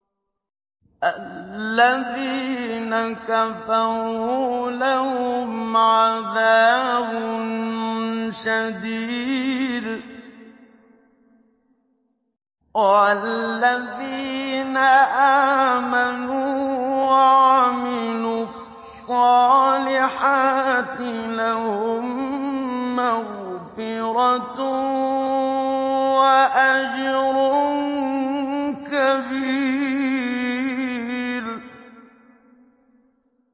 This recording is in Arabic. الَّذِينَ كَفَرُوا لَهُمْ عَذَابٌ شَدِيدٌ ۖ وَالَّذِينَ آمَنُوا وَعَمِلُوا الصَّالِحَاتِ لَهُم مَّغْفِرَةٌ وَأَجْرٌ كَبِيرٌ